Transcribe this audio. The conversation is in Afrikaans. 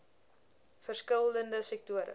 verskil lende sektore